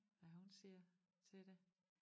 Hvad hun siger til det